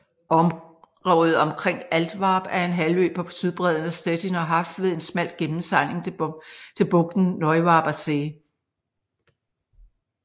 Området omkring Altwarp er en halvø på sydbredden af Stettiner Haff ved en smal gennemsejling til bugten Neuwarper See